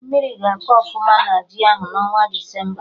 Mmiri ga-akọ ọfụma na ji ahụ n'ọnwa Desemba